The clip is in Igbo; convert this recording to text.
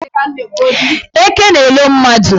Eke na-elo mmadụ.